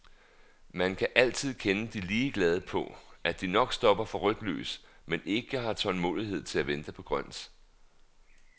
Man kan altid kende de ligeglade på, at de nok stopper for rødt lys, men ikke har tålmodighed til at vente på grønt.